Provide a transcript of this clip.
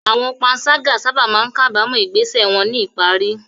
Àwọn panṣágà sábà máa ń kábàámọ̀ ìgbésẹ̀ wọn ní ìparí.